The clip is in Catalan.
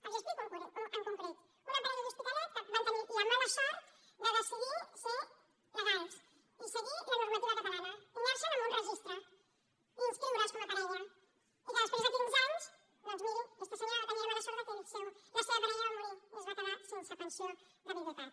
els ho explico en concret una parella d’hospitalet que van tenir la mala sort de decidir ser legals i seguir la normativa catalana i anar se’n a un registre i inscriure’s com a parella i que després de quinze anys doncs miri aquesta senyora va tenir la mala sort que la seva parella va morir i es va quedar sense pensió de viduïtat